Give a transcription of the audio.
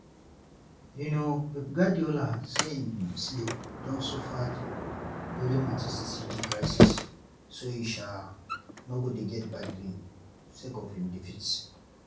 um pep guardiola say im sleep don suffered during manchester city crisis so e um no go dey get bad dream sake of im defeats.